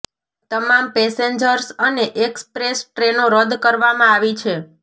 તમામ પેસેન્જર્સ અને એક્સપ્રેસ ટ્રેનો રદ્દ કરવામાં આવી છે